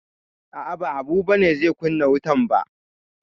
A'a, ba Habu ba ne zai kunna wutan ba.